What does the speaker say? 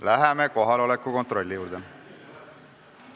Läheme kohaloleku kontrolli juurde.